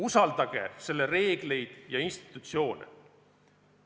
Usaldage selle reegleid ja institutsioone.